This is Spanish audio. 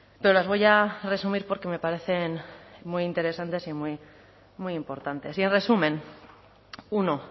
pero las voy a resumir porque me parecen muy interesantes y muy muy importantes y en resumen uno